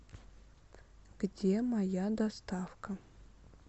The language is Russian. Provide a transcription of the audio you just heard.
где моя доставка